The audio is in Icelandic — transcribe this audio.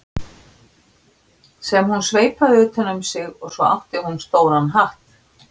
sem hún sveipaði utan um sig og svo átti hún stóran hatt.